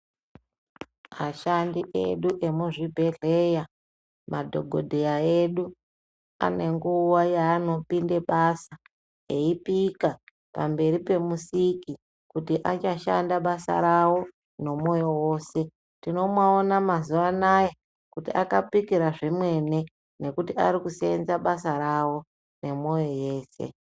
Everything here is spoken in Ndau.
Ashandi edu emuzvibhedhleya, madhokodheya ane nguva yaanopinde basa eipika pamberi paMusiki kuti achashanda basa rawo nomoyo wose. Tinoaona mazuva anaya kuti akapikira zvemene nekuti ari kuseenza basa rawo nemoyo weshe.